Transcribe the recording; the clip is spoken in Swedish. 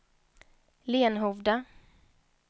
Lenhovda